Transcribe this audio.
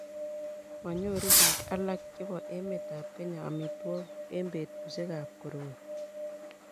manyoru biik alak chebo emetab Kenya amitwogik eng' betusiekab koroii